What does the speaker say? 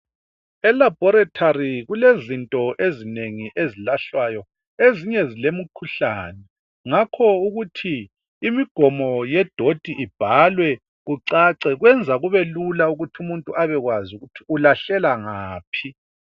Elaboratory kulezinto ezinengi ezilahlwayo ezinye zilemikhuhlane ngakho ukuthi imigomo yedoti ibhalwe kucace kwenza kubelula ukuthi umuntu abekwazi ukuthi ulahlela ngaphi.